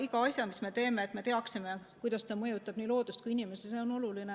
Iga asja puhul, mis me teeme, me peame teadma, kuidas see mõjutab nii loodust kui inimest.